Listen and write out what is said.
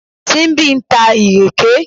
Simbi ń ta ìrèké